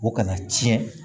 O kana tiɲɛ